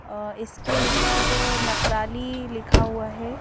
और इसके ऊपर नखराली लिखा हुआ है।